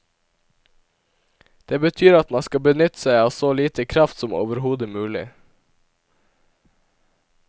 Det betyr at man skal benytte seg av så lite kraft som overhodet mulig.